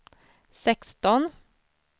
sexton